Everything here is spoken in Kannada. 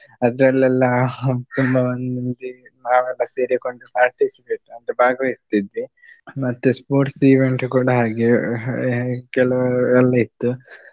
ಅದ್ರೆಲ್ಲೆಲ್ಲಾ ತುಂಬಾ ಮಂದಿ ನಾವೆಲ್ಲ ಸೇರಿಕೊಂಡು participate ಅಂದ್ರೆ ಭಾಗವಹಿಸ್ತಿದ್ವಿ. ಮತ್ತೆ sports event ಕೂಡ ಹಾಗೆ ಅಹ್ ಕೆಲವೆಲ್ಲ ಇತ್ತು.